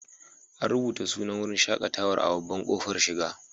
An rubuta sunan wurin shaƙatawar a babban ƙofar shiga.